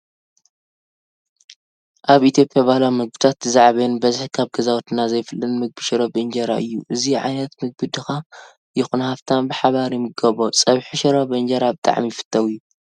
ኣብ ኢትዮጵያ ባህላዊ ምግብታት እቲ ዝዓበየን ብበዝሒ ካብ ገዛውትና ዘይፍለን ምግቢ ሽሮ ብእንጀራ እዩ። እዚ ዓይነት ምግቢ ድካ ይኹን ሓፍታም ብሓበራ ይምገቦ። ፀብሒ ሽሮ ብእንጀራ ብጣዕሚ ይፈትው እየ።